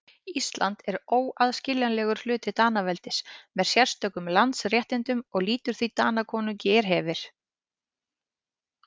Ísland er óaðskiljanlegur hluti Danaveldis með sérstökum landsréttindum og lýtur því Danakonungi er hefir.